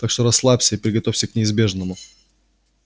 так что расслабься и приготовься к неизбежному